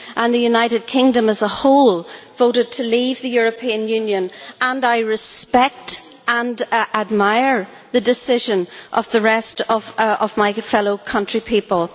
The United Kingdom as a whole voted to leave the European Union and I respect and admire the decision of the rest of my fellow country people.